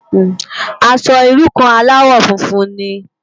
Aṣò irú kàn álàwò fúnfún ni